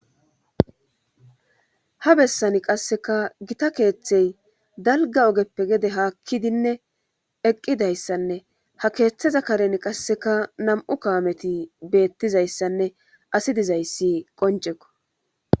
ha bessani qasseka gita keeththey dalga ogeppe gede haakkidinne eqqidayssanne ha keeththeza karen qasseka nam7u kawameti beettizayssanne asi dizayssi qonceko